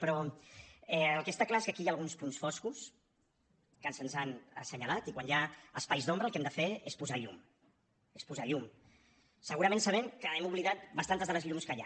però el que està clar és que aquí hi ha alguns punts foscos que se’ns han assenyalat i quan hi ha espais d’ombra el que hem de fer és posar llum és posar llum segurament sabent que hem oblidat bastantes de les llums que hi ha